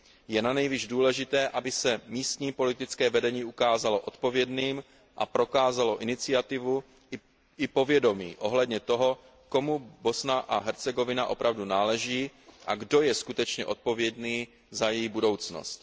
Je nanejvýš důležité, aby se místní politické vedení ukázalo odpovědným a prokázalo iniciativu i povědomí ohledně toho, komu Bosna a Hercegovina opravdu náleží a kdo je skutečně odpovědný za její budoucnost.